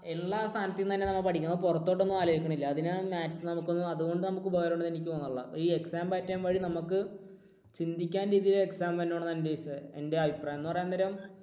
ഉള്ള സാധനത്തിൽ നിന്ന് തന്നെ നമ്മൾ പഠിക്കുന്നു പുറത്തോട്ട് ഒന്നും ആലോചിക്കുന്നില്ല. അതിന് maths ഒന്നും അതുകൊണ്ട് നമുക്ക് ഉപകാരം ഉണ്ട് എന്ന് എനിക്ക് തോന്നുന്നില്ല. ഈ exam pattern വഴി നമുക്ക് ചിന്തിക്കാവുന്ന രീതിയിൽ exam വരണം എന്നാണ് എൻറെ അഭിപ്രായം. എൻറെ അഭിപ്രായം എന്ന് പറയാൻ നേരം